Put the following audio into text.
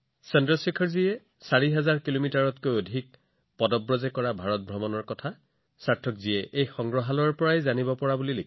চন্দ্ৰশেখৰজীয়ে ৪০০০ কিলোমিটাৰৰো অধিক দূৰত্ব খোজ কাঢ়ি ভাৰত ভ্ৰমণ কৰিছিল বুলি সাৰ্থকজীয়ে জানিব পাৰিছিল